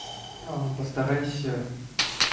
постарайся